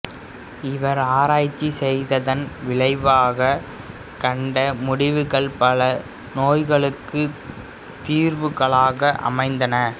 இவர் ஆராய்ச்சி செய்ததன் விளைவாகக் கண்ட முடிவுகள் பல நோய்களுக்குத் தீர்வுகளாக அமைந்தன